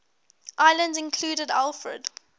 islands included alfred